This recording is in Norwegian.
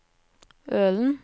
Ølen